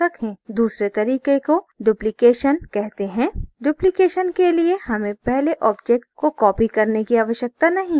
दूसरे तरीके को duplication कहते हैं duplication के लिए हमें पहले object को copy करने की आवश्यकता नहीं है